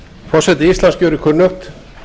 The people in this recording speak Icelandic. forseti íslands gerir kunnugt